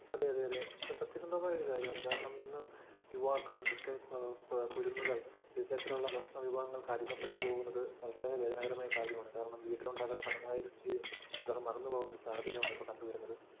അതെയതെ അതേ, അത് സത്യസന്ധമായ ഒരു കാര്യമാണ്. ഇന്ന് യുവാക്കള്‍, ഇന്നത്തെ കുരുന്നുകള്‍ വിവിധ തരത്തിലുള്ള ഭക്ഷണ വിഭവങ്ങള്‍ക്ക് അടിമപ്പെട്ടു പോകുന്നത് വളരെ വേദനാജനകമായ ഒരു കാര്യമാണ്. കാരണം വീട്ടിലുണ്ടാക്കുന്ന തനതായ രുചിയെ ഇവര്‍ മറന്നു പോകുന്ന ഒരു സാഹചര്യമാണ് കണ്ടു വരുന്നത്.